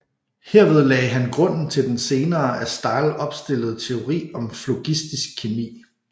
Herved lagde han grunden til den senere af Stahl opstillede teori om flogistisk kemi